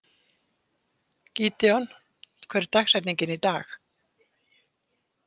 Gídeon, hver er dagsetningin í dag?